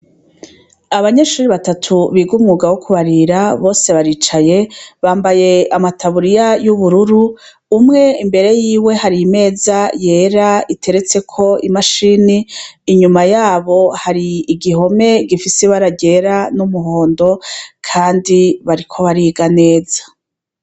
Abanyeshure batatu biga umwuga wo kubarira bose baricaye bambaye amataburiya y’ubururu umwe imbere yiwe hari imeza yera iteretse imashini inyuma yabo hari igihome gifise ibara ryera n’umuhondo kandi bariko bariga neza.